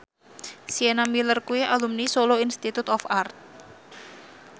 Sienna Miller kuwi alumni Solo Institute of Art